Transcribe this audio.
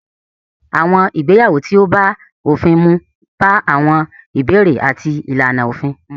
Àwọn ìgbéyàwó tí ó bá òfin mu bá àwọn ìbéèrè àti ìlànà òfin mu.